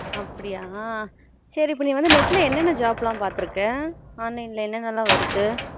அப்படியா சரி இப்போ நீ வந்து net ல என்ன என்ன job லாம் பாத்துருக்க online ல என்ன என்னலாம் வருது அப்படியா